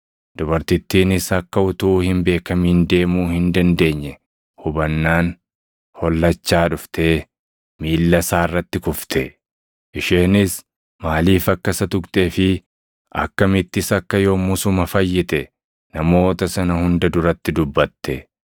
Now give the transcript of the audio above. Dubartittiinis akka utuu hin beekamin deemuu hin dandeenye hubannaan hollachaa dhuftee miilla isaa irratti kufte. Isheenis maaliif akka isa tuqxee fi akkamittis akka yommusuma fayyite namoota sana hunda duratti dubbate.